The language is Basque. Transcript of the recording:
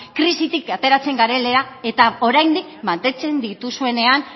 krisitik ateratzen garela eta oraindik mantentzen dituzuenean